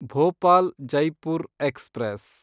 Bhopal Jaipur express